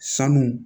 Sanu